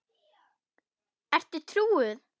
Ertu trúuð?